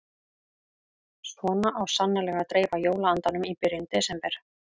Svona á svo sannarlega að dreifa jóla-andanum í byrjun desember.